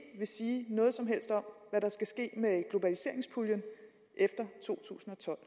vil sige noget som helst om hvad der skal ske med globaliseringspuljen efter to tusind og tolv